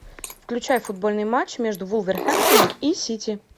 включай футбольный матч между вулверхэмптоном и сити